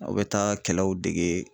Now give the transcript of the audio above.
Aw bɛ taa kɛlɛw dege